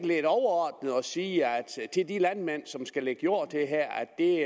lidt overordnet at sige til de landmænd som her skal lægge jord til at det